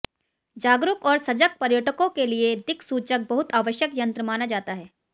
जागरूक और सजग पर्यटकों के लिए दिक्सूचक बहुत आवश्यक यन्त्र माना जाता है